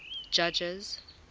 judges